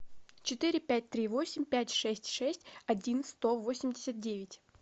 четыре пять три восемь пять шесть шесть один сто восемьдесят девять